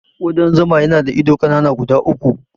Ƙudan zuma yana da ido ƙanana guda uku.